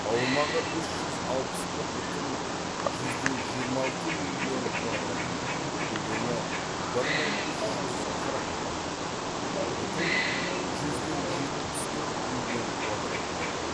аумағы үш жүз алпыс бір бүтін жүзден жиырма алты миллион квадрат метр көлемі бір мың үш жүз қырық бүтін жүзден жетпіс төрт миллион квадрат метр